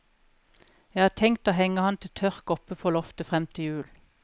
Jeg har tenkt å henge han til tørk oppe på loftet fram til jul.